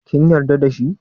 Kin yarda da shi?